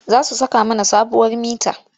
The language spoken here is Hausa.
Za su saka mana sabuwar mita.